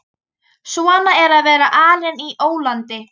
Svona er að vera alinn á ólandi.